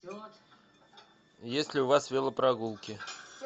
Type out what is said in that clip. есть ли у вас велопрогулки